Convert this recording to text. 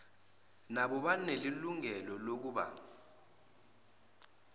nabo banelungelo lokuba